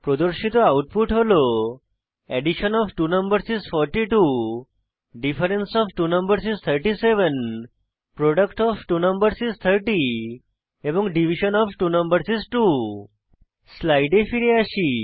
প্রদর্শিত আউটপুট হল addition of two numbers is 42 difference of two numbers is 37 product of two numbers is 30 এবং division of two numbers is 2 স্লাইডে ফিরে আসি